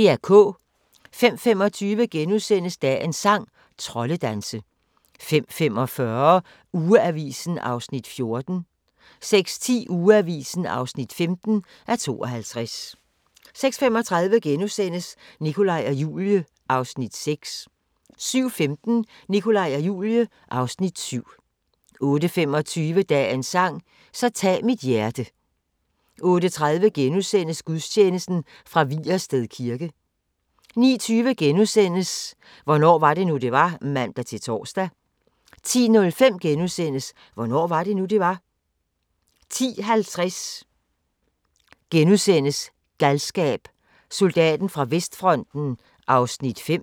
05:25: Dagens sang: Troldedanse * 05:45: Ugeavisen (14:52) 06:10: Ugeavisen (15:52) 06:35: Nikolaj og Julie (Afs. 6)* 07:15: Nikolaj og Julie (Afs. 7) 08:25: Dagens sang: Så tag mit hjerte 08:30: Gudstjeneste fra Vigersted kirke * 09:20: Hvornår var det nu, det var? *(man-tor) 10:05: Hvornår var det nu, det var? * 10:50: Galskab: Soldaten fra vestfronten (5:6)*